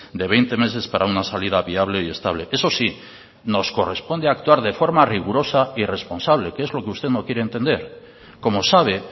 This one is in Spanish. de veinte meses para una salida viable y estable eso sí nos corresponde actuar de forma rigurosa y responsable que es lo que usted no quiere entender como sabe